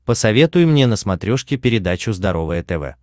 посоветуй мне на смотрешке передачу здоровое тв